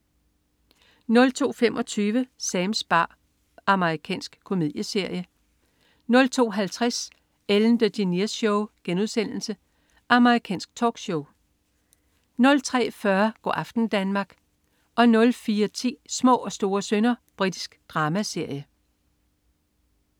02.25 Sams bar. Amerikansk komedieserie 02.50 Ellen DeGeneres Show* Amerikansk talkshow 03.40 Go' aften Danmark 04.10 Små og store synder. Britisk dramaserie